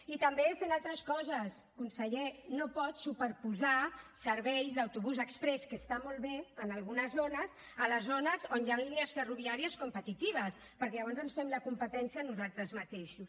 i també fent altres coses conseller no pot superposar serveis d’autobús exprés que està molt bé en algunes zones a les zones on hi han línies ferroviàries competitives perquè llavors ens fem la competència nosaltres mateixos